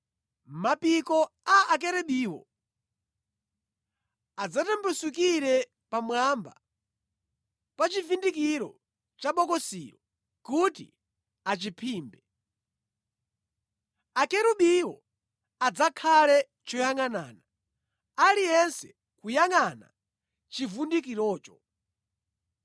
Mapiko a Akerubiwo adzatambasukire pamwamba pa chivundikiro cha bokosilo kuti achiphimbe. Akerubiwo adzakhale choyangʼanana, aliyense kuyangʼana chivundikirocho.